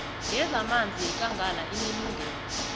yezamanzi yekangala inelungelo